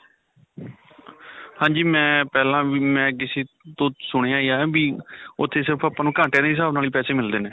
ਹਾਂਜੀ. ਮੈਂ ਪਹਿਲਾਂ ਮੈਂ ਕਿਸੇ ਤੋਂ ਸੁਣਿਆ ਹੀ ਹੈ ਵੀ ਉੱਥੇ ਸਿਰਫ ਆਪਾਂ ਨੂੰ ਘੰਟਿਆਂ ਦੇ ਹਿਸਾਬ ਨਾਲ ਪੈਸੇ ਮਿਲਦੇ ਨੇ.